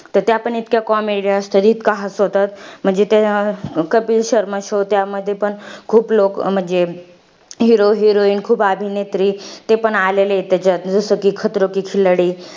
तर त्या पण इतक्या comedy असतात. इतकं हसवतात. म्हणजे ता कपिल शर्मा show त्यामध्ये पण खूप लोकं, म्हणजे hero heroine खूप अभिनेत्री ते पण आलेले आहेत त्याच्यात. जसं कि,